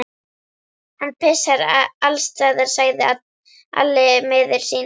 Hann pissar allsstaðar, sagði Alli miður sín.